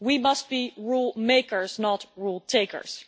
We must be rule makers, not rule takers.